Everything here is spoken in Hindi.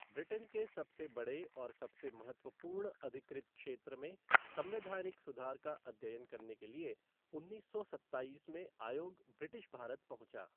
ब्रिटेन के सबसे बड़े और सबसे महत्वपूर्ण अधिकृत क्षेत्र में संवैधानिक सुधार का अध्ययन करने के लिए उन्नीस सौ सत्ताईस में आयोग ब्रिटिश भारत पहुंचा।